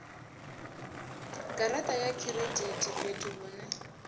garaṱa ya khiredithi fhethu hune